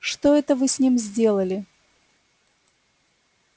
что это вы с ним сделали